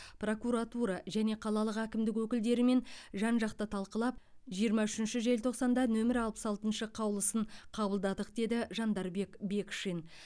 прокуратура және қалалық әкімдік өкілдерімен жан жақты талқылап жиырма үшінші желтоқсанда нөмірі алпыс алтыншы қаулысын қабылдадық деді жандарбек бекшин